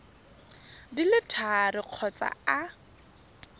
di le tharo kgotsa a